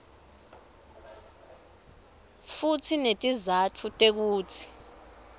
futsi netizatfu tekutsi